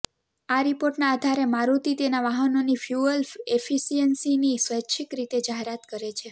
આ રિપોર્ટના આધારે મારુતિ તેનાં વાહનોની ફ્યુઅલ એફિશિયન્સીની સ્વૈચ્છિક રીતે જાહેરાત કરે છે